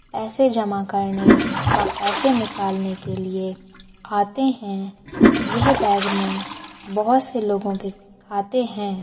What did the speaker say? ऐसे जमा करने व पैसे या निकालने के लिए आते है यह में बहुत से लोग के खाते हैं।